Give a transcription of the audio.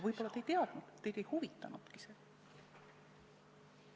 Võib-olla te ei teadnud eelnõu küsitavusi, aga need teid ei huvitanudki.